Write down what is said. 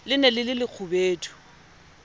le ne le le lekgubedu